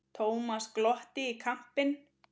Thomas glotti í kampinn.